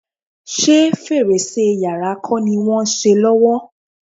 Ṣé fèrèsé yàrá kọ́ ni wọ́n ń ṣe lọ́wọ́?